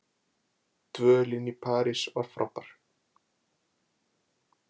Dvölin í París frábær